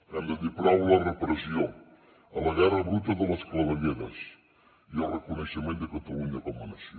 hem de dir prou a la repressió a la guerra bruta de les clavegueres i al reconeixement de catalunya com a nació